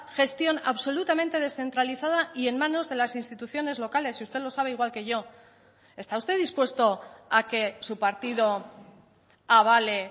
gestión absolutamente descentralizada y en manos de las instituciones locales y usted lo sabe igual que yo está usted dispuesto a que su partido avale